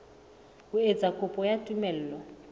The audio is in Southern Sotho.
ho etsa kopo ya tumello